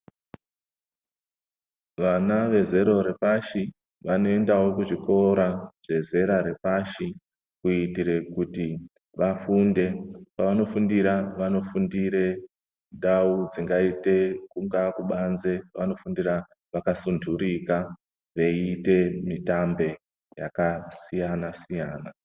Vana vezero repashi vaneendawo kuzvikora zvedera repashi kuitire kuti vafunde, pavanofundira vanofundira ndau dzingaite kungaa kubanze vanofundira vakasundurika veiite mitambo yakasiyana siyana.